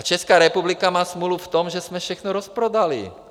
A Česká republika má smůlu v tom, že jsme všechno rozprodali.